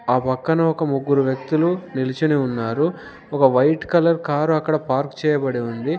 ఆ పక్కన ఒక ముగ్గురు వ్యక్తులు నిలుచొని ఉన్నారు ఒక వైట్ కలర్ కారు అక్కడ పార్క్ చేయబడి ఉంది.